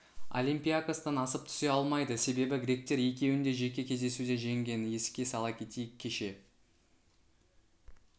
олимпиакостан асып түсе алмайды себебі гректер екеуін де жеке кездесуде жеңген еске сала кетейік кеше